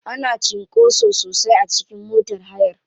Ana cunkoso sosai a cikin motar hayar.